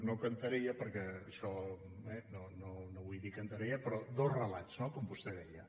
no cantarella perquè no vull dir ne cantarella però dos relats no com vostè deia